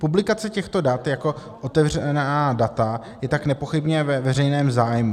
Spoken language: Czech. Publikace těchto dat jako otevřená data je tak nepochybně ve veřejném zájmu.